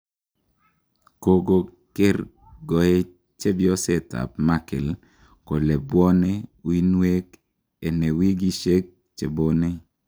Kogo kergoet chepyoset ab Merkel kole bwone uinwek ene wigisiek chebone.